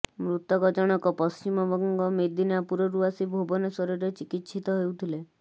ମୃତକ ଜଣକ ପଶ୍ଚିମବଙ୍ଗ ମେଦିନାପୁରରୁ ଆସି ଭୁବନେଶ୍ୱରରେ ଚିକିତ୍ସିତ ହେଉଥିଲେ